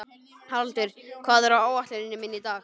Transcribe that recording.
Haraldur, hvað er á áætluninni minni í dag?